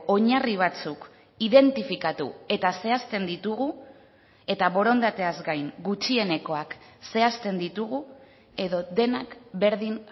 oinarri batzuk identifikatu eta zehazten ditugu eta borondateaz gain gutxienekoak zehazten ditugu edo denak berdin